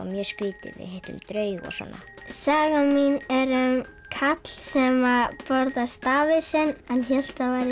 mjög skrítið við hittum draug og svona sagan mín er um karl sem borðar stafinn sinn en hélt hann væri